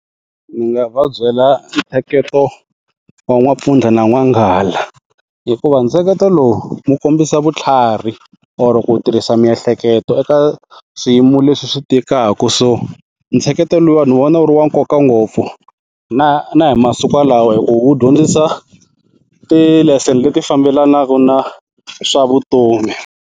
Ndzi nga va byela ntsheketo wa n'wampfundla na n'wanghala hikuva ntsheketo lowu wu kombisa vutlhari or ku tirhisa miehleketo eka swiyimo leswi swi tikaka so ntsheketelo luwa ni vona wu ri wa nkoka ngopfu na na hi masiku lawa hi ku wu dyondzisa ti-lesson leti fambelanaka na swa vutomi.